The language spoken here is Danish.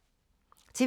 TV 2